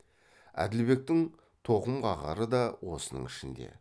әділбектің тоқымқағары да осының ішінде